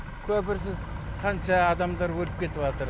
көпірсіз қанша адамдар өліп кетіватыр